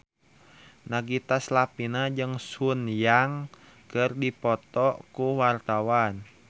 Nagita Slavina jeung Sun Yang keur dipoto ku wartawan